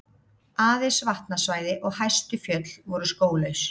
Aðeins vatnasvæði og hæstu fjöll voru skóglaus.